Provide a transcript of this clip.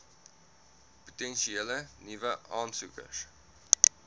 potensiële nuwe aansoekers